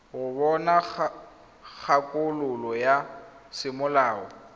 go bona kgakololo ya semolao